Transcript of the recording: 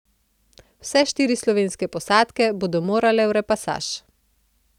Vse štiri slovenske posadke bodo morale v repasaž.